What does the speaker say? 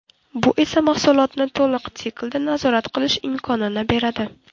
Bu esa mahsulotni to‘liq siklda nazorat qilish imkonini beradi.